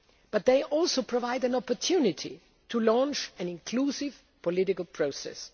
and risk. But they also provide an opportunity to launch an inclusive political